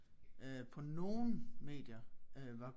Øh på nogle medier øh var